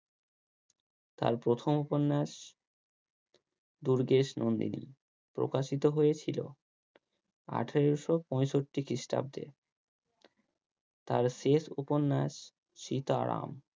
তার প্রথম উপন্যাস দুর্গেশ নন্দিনী প্রকাশিত হয়েছিল আঠেরোশো পঁয়ষট্টি খ্রিস্টাব্দে তার শেষ উপন্যাস সীতারাম